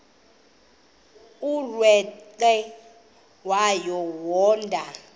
umrweqe wayo yoonda